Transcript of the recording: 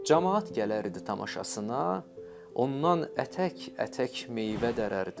Camaat gələrdi tamaşasına, ondan ətək-ətək meyvə dərərdi.